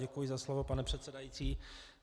Děkuji za slovo, pane předsedající.